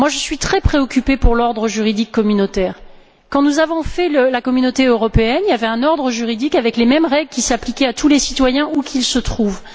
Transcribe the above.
Je suis très préoccupée pour l'ordre juridique communautaire. Quand nous avons construit la Communauté européenne, il y avait un ordre juridique avec les mêmes règles qui s'appliquaient à tous les citoyens, où qu'ils se trouvent.